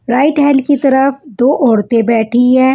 Right hand की तरफ दो ओरते बेठी हुई है।